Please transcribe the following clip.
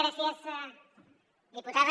gràcies diputada